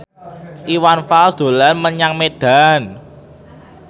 Iwan Fals dolan menyang Medan